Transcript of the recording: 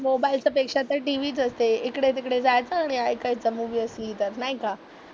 Mobile तर पेक्षा तर TV चं असे, इकडे तिकडे जायचं आणि ऐकायचं मूवी असली तर, नाही का?